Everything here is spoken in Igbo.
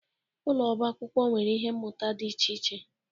Ụlọ ọba akwụkwọ nwere ihe mmụta dị iche iche.